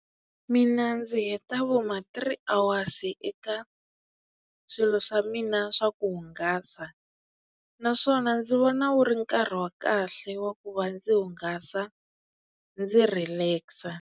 Mina ndzi heta vo mati three awasi eka swilo swa mina swa ku hungasa naswona ndzi vona wu ri nkarhi wa kahle wa ku va ndzi hungasa ndzi relax-a.